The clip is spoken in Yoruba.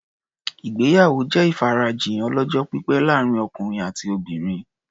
Ìgbéyàwó jẹ́ ìfarajìn ọlọ́jọ́-pípẹ́ láàrin ọkùnrin àti obìnrin.